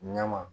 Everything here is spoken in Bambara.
Ɲɛma